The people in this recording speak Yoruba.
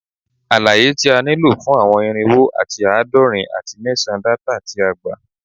Alaye ti a nilo fun awọn irinwo ati aadọrin ati mẹsan data ti a gba